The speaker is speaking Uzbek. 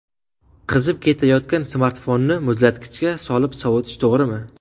Qizib ketayotgan smartfonni muzlatgichga solib sovutish to‘g‘rimi?.